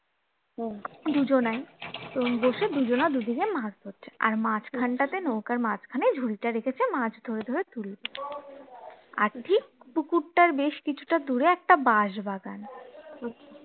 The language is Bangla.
দুজনাই তো বসে দুজনা দুদিকে মাছ ধরছে আর মাঝখানটাতে নৌকার মাঝখানে ঝুড়িটা রেখেছে মাছ ধরে ধরে তুলে আর ঠিক পুকুরটার বেশ কিছুটা দূরে একটা বাঁশবাগান